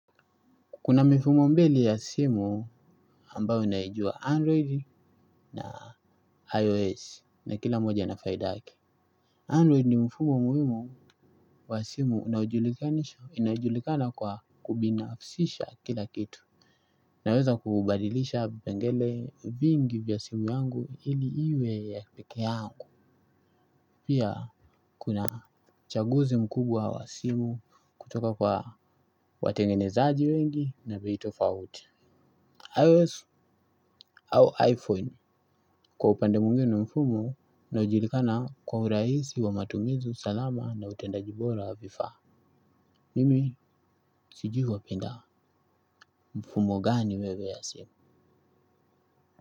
Kuna mifumo mbili ya simu ambayo naijua Android na iOS na kila moja ina faida yake. Android ni mfumo muhimu wa simu inayojulikana kwa kubinafsisha kila kitu. Naweza kubadilisha vipengele vingi vya simu yangu ili iwe ya peke yangu. Pia kuna chaguzi mkubwa wa simu kutoka kwa watengenezaji wengi na bei tofauti. iOS au iPhone. Kwa upande mwingine ni mfumo unaojulikana kwa urahisi wa matumizi salama na utendaji bora wa vifaa. Mimi sijui wapenda mfumo gani wewe ya simu.